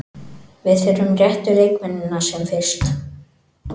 Við þurfum réttu leikmennina sem fyrst.